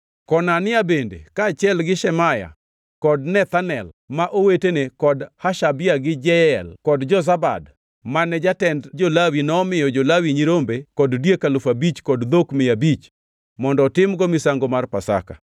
Konania bende, kaachiel gi Shemaya kod Nethanel ma owetene kod Hashabia gi Jeyel kod Jozabad mane jatend jo-Lawi nomiyo jo-Lawi nyirombe kod diek alufu abich kod dhok mia abich mondo otimgo misango mar Pasaka.